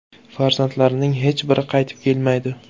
Farzandlarining hech biri qaytib kelmaydi.